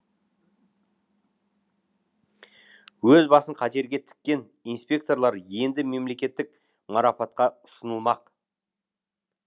өз басын қатерге тіккен инспекторлар енді мемлекеттік марапатқа ұсынылмақ